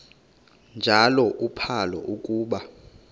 njalo uphalo akuba